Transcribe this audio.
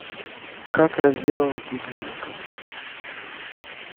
как разделывать ягненка